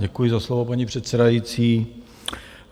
Děkuji za slovo, paní předsedající.